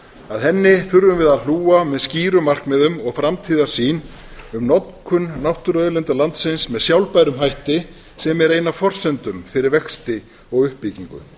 að henni þurfum við að hlúa með skýrum markmiðum og framtíðarsýn um notkun náttúruauðlinda landsins með sjálfbærum hætti sem er ein af forsendum fyrir vexti og uppbyggingu